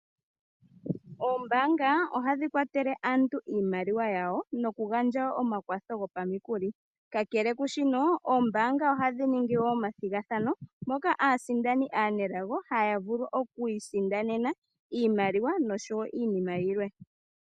Oombaanga ohadhi kwatele aantu iimaliwa yawo noku gandja omakwatho gopamikuli, kakele kwaashino oombaanga ohadhi ningi wo omathigathano moka aasindani aanelago haya vulu okwiisindanena iimaliwa noshowo iinima yilwe.